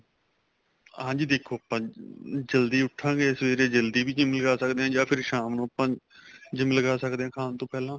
ਹਾਂਜੀ ਦੇਖੋ ਜਲਦੀ ਉੱਠਾਗੇ ਸਵੇਰੇ ਜਲਦੀ ਵੀ GYM ਲਗਾ ਸਕਦੇ ਹਾਂ ਜਾਂ ਫ਼ਿਰ ਸ਼ਾਮ ਨੂੰ ਆਪਾਂ GYM ਲਗਾ ਸਕਦੇ ਹਾਂ ਖਾਣ ਤੋਂ ਪਹਿਲਾਂ